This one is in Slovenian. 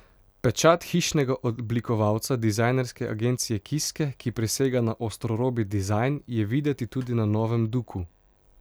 Pečat hišnega oblikovalca, dizajnerske agencije Kiske, ki prisega na ostrorobi dizajn, je videti tudi na novem duku.